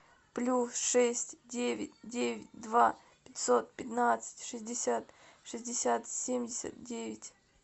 плюс шесть девять девять два пятьсот пятнадцать шестьдесят шестьдесят семьдесят девять